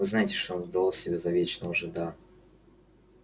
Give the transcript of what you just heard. вы знаете что он выдавал себя за вечного жида